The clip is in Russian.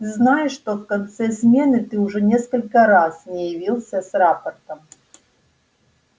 ты знаешь что в конце смены ты уже несколько раз не явился с рапортом